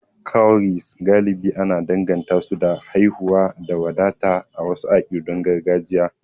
Cowries galibi ana danganta su da haihuwa da wadata a wasu akidun gargajiya.